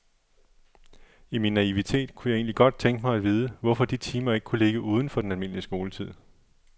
I min naivitet kunne jeg egentlig godt tænke mig at vide, hvorfor de timer ikke kunne ligge uden for den almindelige skoletid.